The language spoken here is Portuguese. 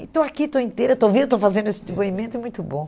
E estou aqui, estou inteira, estou viva, estou fazendo esse depoimento e é muito bom.